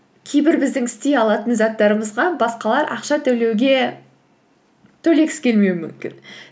кейбір біздің істей алатын заттарымызға басқалар ақша төлегісі келмеуі мүмкін